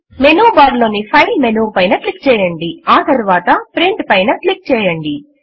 menu bar లోని file menu పైన click చేయండి ఆ తరువాత Printపైన క్లిక్ చేయండి